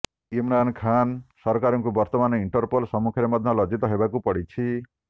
ଇମ୍ରାନ ଖାନ ସରକାରଙ୍କୁ ବର୍ତ୍ତମାନ ଇଣ୍ଟରପୋଲ ସମ୍ମୁଖରେ ମଧ୍ୟ ଲଜ୍ଜିତ ହେବାକୁ ପଡିଛି